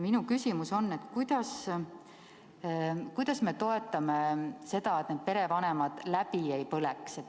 Minu küsimus on, kuidas me toetame seda, et need perevanemad läbi ei põleks.